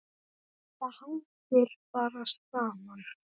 Þetta hangir bara saman.